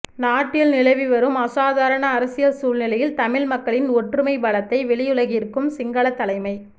நாட்டில் நிலவிவரும் அசாதாரண அரசியல் சூழ்நிலையில் தமிழ் மக்களின் ஒற்றுமை பலத்தை வெளியுலகிற்கும் சிங்கள தலைமை